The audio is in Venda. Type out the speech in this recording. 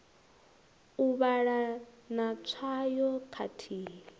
u vhala na tswayo khathihi